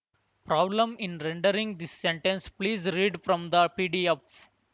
problem in rendering this sentence please read from the P D F